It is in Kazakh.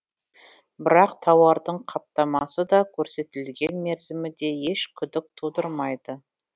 бірақ тауардың қаптамасы да көрсетілген мерзімі де еш күдік тудырмайды